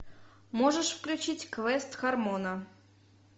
можешь включить квест хармона